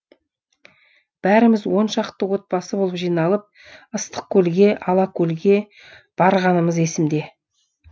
бәріміз он шақты отбасы болып жиналып ыстықкөлге алакөлге барғанымыз есімде